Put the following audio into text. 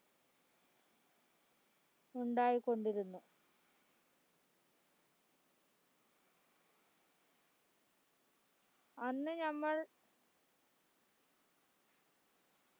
ഉണ്ടായികൊണ്ടിരുന്നു അന്ന് ഞമ്മൾ